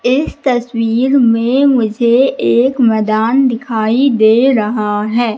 इस तस्वीर में मुझे एक मैदान दिखाई दे रहा है।